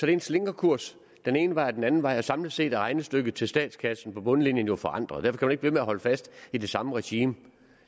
er en slingrekurs den ene vej og den anden vej og samlet set er regnestykket til statskassen jo på bundlinjen forandret derfor ikke ved med at holde fast i det samme regime